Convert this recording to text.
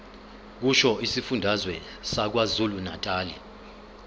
kusho isifundazwe sakwazulunatali